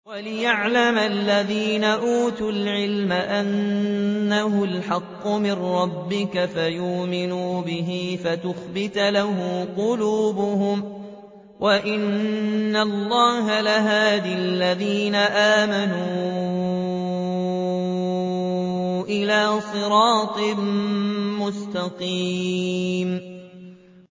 وَلِيَعْلَمَ الَّذِينَ أُوتُوا الْعِلْمَ أَنَّهُ الْحَقُّ مِن رَّبِّكَ فَيُؤْمِنُوا بِهِ فَتُخْبِتَ لَهُ قُلُوبُهُمْ ۗ وَإِنَّ اللَّهَ لَهَادِ الَّذِينَ آمَنُوا إِلَىٰ صِرَاطٍ مُّسْتَقِيمٍ